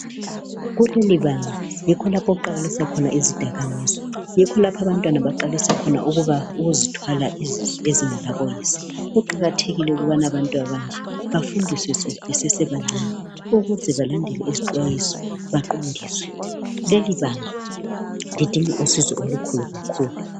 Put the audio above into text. Kulelibanga yikho okuqala khona izidakamizwa yikho lapho abantwana abaqalisa khona ukuzithwale izisu ezingela boyise. Kuqakathekile ukubana abantwana abanje bafundiswe besesebancane ukuze balandele izixwayiso baqondiswe. Lelibanga lidinga usizo olukhulu kakhulu